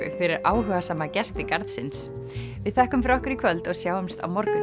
fyrir áhugasama gesti garðsins við þökkum fyrir okkur í kvöld og sjáumst á morgun